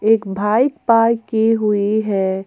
एक bike park की हुई है।